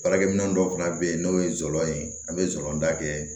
Baarakɛ minɛn dɔw fana bɛ yen n'o ye zɔ ye an be zon da kɛ